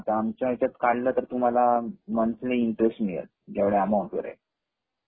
हा आता आमच्या याच्या काढल तर तुम्हाला मंथली इंटरेस्ट मिळेल एवढ्या अमाउंट मुळे